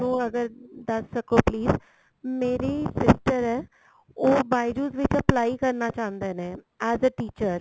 ਮੈਨੂੰ ਅਗਰ ਦੱਸ ਸਕੋ please ਮੇਰੀ sister ਏ ਉਹ bijou's ਵਿੱਚ apply ਕਰਨਾ ਚਾਉਂਦੇ ਨੇ as a teacher